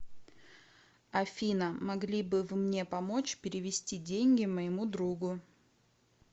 афина могли бы вы мне помочь перевести деньги моему другу